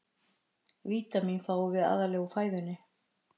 Vítamínin fáum við aðallega úr fæðunni.